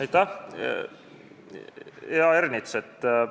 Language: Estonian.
Aitäh, hea Ernits!